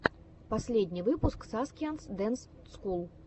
последний выпуск саскианс дэнс скул